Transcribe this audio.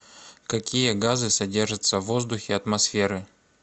какие газы содержатся в воздухе атмосферы